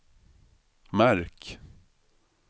märk